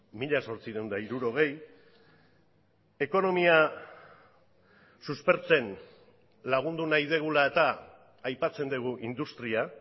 mila zortziehun eta hirurogei ekonomia suspertzen lagundu nahi dugula eta aipatzen dugu industria